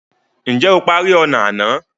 Ǹjẹ́ o parí ọnà àná?